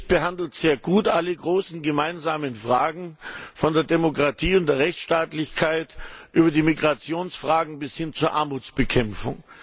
Der Bericht behandelt sehr gut alle großen gemeinsamen Fragen, von der Demokratie und der Rechtsstaatlichkeit über die Migrationsfragen bis hin zur Armutsbekämpfung.